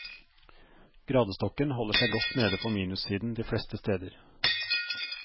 Gradestokken holder seg godt nede på minussiden de fleste steder.